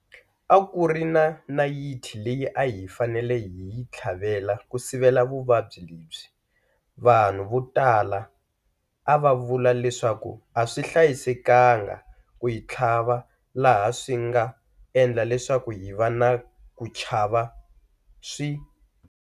A ku ri na nayiti leyi a hi fanele hi yi tlhavela ku sivela vuvabyi lebyi, vanhu vo tala a vav ula leswaku a swi hlayisekanga ku yi tlhava laha swi nga endla leswaku hi va na ku chava swi.